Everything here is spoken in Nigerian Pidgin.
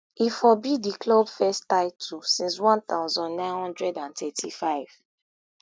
e for be di club first title since one thousand, nine hundred and thirty-five